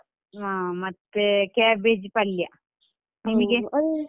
ಹ ಮತ್ತೆ cabbage ಪಲ್ಯ ನಿಮಿಗೆ?